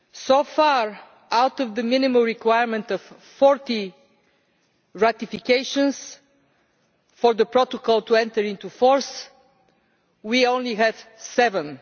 So far, out of the minimum requirement of 40 ratifications for the Protocol to enter into force we only have seven.